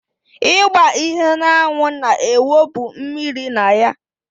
Ịgba ihe n'anwụ na-ewụpụ mmiri na ya